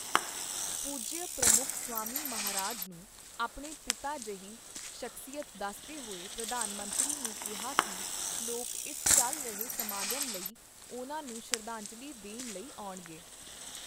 ਪੂਜਯ ਪ੍ਰਮੁੱਖ ਸਵਾਮੀ ਮਹਾਰਾਜ ਨੂੰ ਆਪਣੇ ਪਿਤਾ ਜਿਹੀ ਸ਼ਖ਼ਸੀਅਤ ਦੱਸਦੇ ਹੋਏ ਪ੍ਰਧਾਨ ਮੰਤਰੀ ਨੇ ਕਿਹਾ ਕੀ ਲੋਕ ਇਸ ਚੱਲ ਰਹੇ ਸਮਾਗਮ ਲਈ ਉਨ੍ਹਾਂ ਨੂੰ ਸ਼ਰਧਾਂਜਲੀ ਦੇਣ ਲਈ ਆਉਣਗੇ।